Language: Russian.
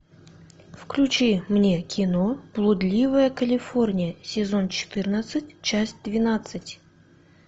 включи мне кино блудливая калифорния сезон четырнадцать часть двенадцать